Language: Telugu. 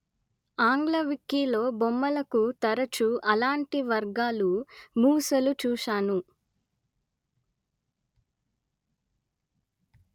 ఆంగ్ల వికీలో బొమ్మలకు తరచు అలాంటి వర్గాలు మూసలు చూశాను